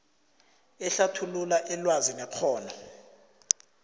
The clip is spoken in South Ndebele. ehlathulula ilwazi nekghono